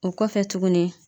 O kɔfɛ tuguni